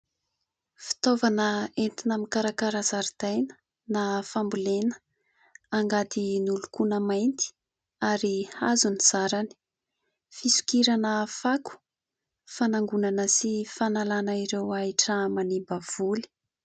Fitaovana entina mikarakara zaridaina na fambolena : angady nolokoina mainty ary hazo ny zarany, fisokirana fako, fanangonana sy fanalana ireo ahitra manimba voly.